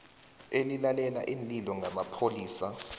elilalela iinlilo ngamapholisa